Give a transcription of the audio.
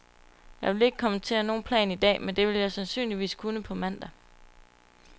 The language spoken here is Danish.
Jeg vil ikke kommentere nogen plan i dag, men det vil jeg sandsynligvis kunne på mandag.